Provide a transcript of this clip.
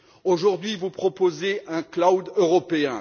Aujourd'hui, vous proposez un cloud européen.